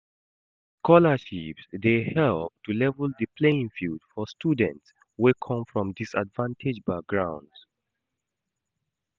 Scholarships dey help to level di playing field for students wey come from disadvanged backgrounds.